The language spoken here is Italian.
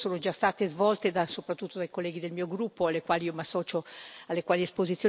esposizioni mi associo completamente, e voglio richiamare due aspetti importanti.